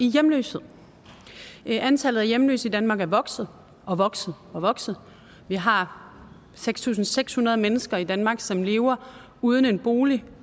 hjemløshed antallet af hjemløse i danmark er vokset og vokset og vokset og vi har seks tusind seks hundrede mennesker i danmark som lever uden en bolig